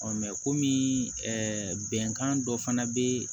komi bɛnkan dɔ fana be yen